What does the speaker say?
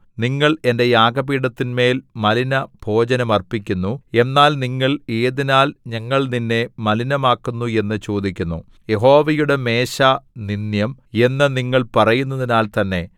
നിങ്ങൾ എന്റെ യാഗപീഠത്തിന്മേൽ മലിനഭോജനം അർപ്പിക്കുന്നു എന്നാൽ നിങ്ങൾ ഏതിനാൽ ഞങ്ങൾ നിന്നെ മലിനമാക്കുന്നു എന്നു ചോദിക്കുന്നു യഹോവയുടെ മേശ നിന്ദ്യം എന്നു നിങ്ങൾ പറയുന്നതിനാൽ തന്നെ